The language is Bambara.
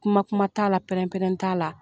Kuma kuma t'a la pɛrɛn pɛrɛn t'a la.